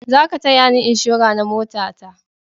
Za ka taya ni inshora na mota ta!